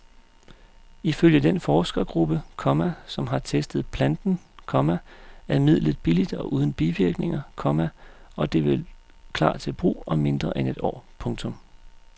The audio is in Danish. Ifølge den forskergruppe, komma som har testet planten, komma er midlet billigt og uden bivirkninger, komma og det vil klar til brug om mindre end et år. punktum